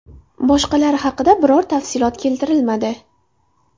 Boshqalari haqida biror tafsilot keltirilmadi.